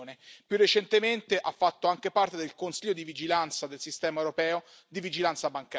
Più recentemente ha fatto anche parte del consiglio di vigilanza del sistema europeo di vigilanza bancaria.